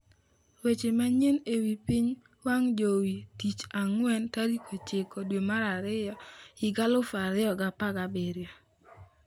Weche Manyien e Wi Piny wang jowi tich Ang'wen 09.02.2017